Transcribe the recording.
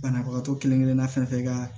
Banabagatɔ kelenkelenna fɛn fɛn ka